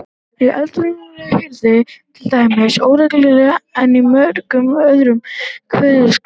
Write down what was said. Í eddukvæðum er hrynjandi til dæmis óreglulegri en í mörgum öðrum kveðskapargreinum.